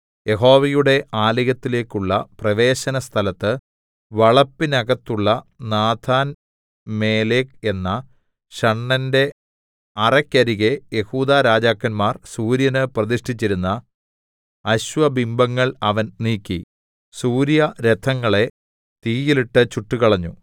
യഹോവയുടെ ആലയത്തിലേക്കുള്ള പ്രവേശനസ്ഥലത്ത് വളപ്പിനകത്തുള്ള നാഥാൻമേലെക്ക് എന്ന ഷണ്ഡന്റെ അറെക്കരികെ യെഹൂദാരാജാക്കന്മാർ സൂര്യന് പ്രതിഷ്ഠിച്ചിരുന്ന അശ്വബിംബങ്ങൾ അവൻ നീക്കി സൂര്യരഥങ്ങളെ തീയിലിട്ട് ചുട്ടുകളഞ്ഞു